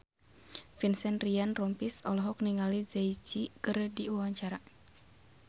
Vincent Ryan Rompies olohok ningali Jay Z keur diwawancara